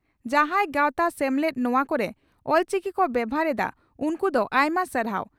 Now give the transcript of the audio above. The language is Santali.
ᱡᱟᱦᱟᱸᱭ ᱜᱟᱣᱛᱟ/ᱥᱮᱢᱞᱮᱫ ᱱᱚᱣᱟ ᱠᱚᱨᱮ ᱚᱞᱪᱤᱠᱤ ᱠᱚ ᱵᱮᱵᱷᱟᱨ ᱮᱫᱼᱟ, ᱩᱱᱠᱩ ᱫᱚ ᱟᱭᱢᱟ ᱥᱟᱨᱦᱟᱣ ᱾